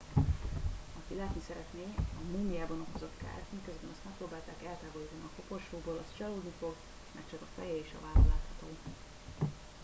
aki látni szeretné a múmiában okozott kárt miközben azt megpróbálták eltávolítani a koporsóból az csalódni fog mert csak a feje és a válla látható